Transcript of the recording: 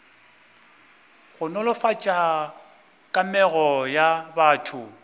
go nolofatša kamego ya batho